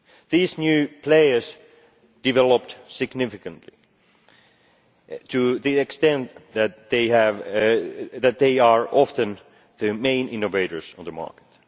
These new players developed significantly to the extent that they are often the main innovators on the market.